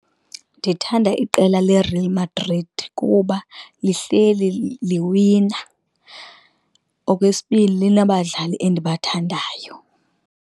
Ndithanda iqela leReal Madrid kuba lihleli liwina. Okwesibini, linabadlali endibathandayo.